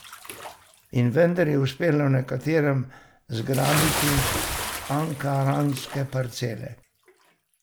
In vendar je uspelo nekaterim zgrabiti ankaranske parcele.